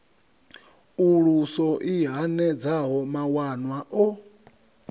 uluso i hanedzaho mawanwa o